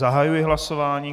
Zahajuji hlasování.